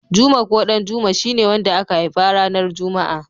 Juma ko Ɗanjuma shi ne wanda aka haifa ranar juma'a.